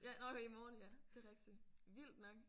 Ja nåh jo i morgen ja det er rigtigt. Vildt nok